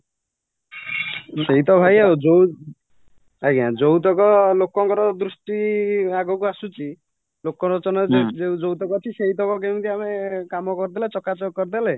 ସେଇତ ଭାଇ ଆଉ ଯୋଉ ଆଂଜ୍ଞା ଯୋଉତକ ଲୋକଙ୍କର ଦୃଷ୍ଟି ଆଗକୁ ଆସୁଛି ଲୋକଲୋଚନରେ ଯୋଉଟାକା ଅଛି ସେଇତକ କେମିତି ଆମେ କାମ କରିଦେଲେ ଚକାଚକ କରିଦେଲେ